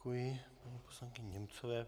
Děkuji paní poslankyni Němcové.